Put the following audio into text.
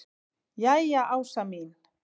Jæja Ása mín.